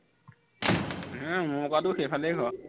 উম মই কোৱাটোও সেইফালেই ঘৰ